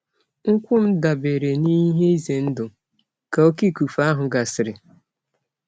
Nkwụ m dabere n'ihe ize ndụ ka oké ifufe ahụ gasịrị.